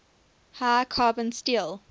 high carbon steel